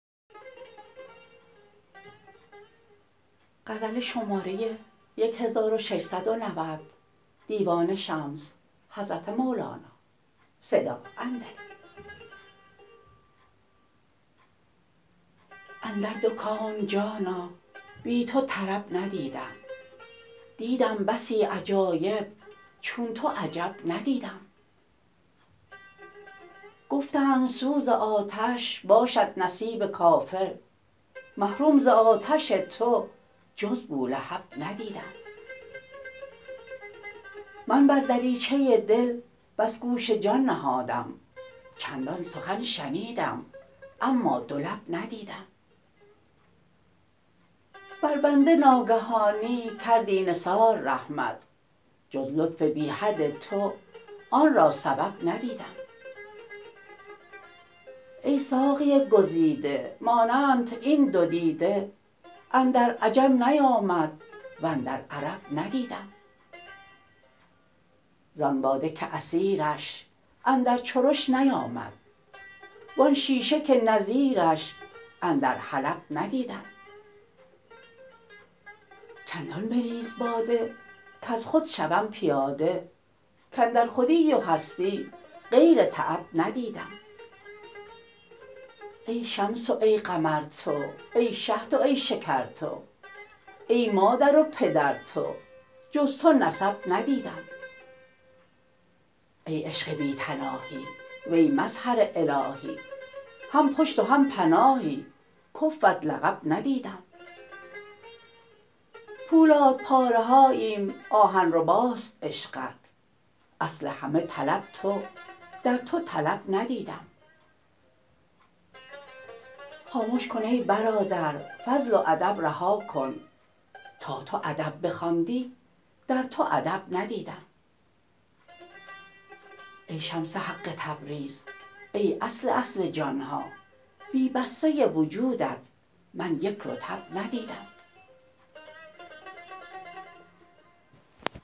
اندر دو کون جانا بی تو طرب ندیدم دیدم بسی عجایب چون تو عجب ندیدم گفتند سوز آتش باشد نصیب کافر محروم ز آتش تو جز بولهب ندیدم من بر دریچه دل بس گوش جان نهادم چندان سخن شنیدم اما دو لب ندیدم بر بنده ناگهانی کردی نثار رحمت جز لطف بی حد تو آن را سبب ندیدم ای ساقی گزیده مانندت ای دو دیده اندر عجم نیامد و اندر عرب ندیدم زان باده که عصیرش اندر چرش نیامد وان شیشه که نظیرش اندر حلب ندیدم چندان بریز باده کز خود شوم پیاده کاندر خودی و هستی غیر تعب ندیدم ای شمس و ای قمر تو ای شهد و ای شکر تو ای مادر و پدر تو جز تو نسب ندیدم ای عشق بی تناهی وی مظهر الهی هم پشت و هم پناهی کفوت لقب ندیدم پولادپاره هاییم آهن رباست عشقت اصل همه طلب تو در تو طلب ندیدم خامش کن ای برادر فضل و ادب رها کن تا تو ادب بخواندی در تو ادب ندیدم ای شمس حق تبریز ای اصل اصل جان ها بی بصره وجودت من یک رطب ندیدم